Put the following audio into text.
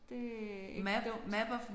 Det er ikke dumt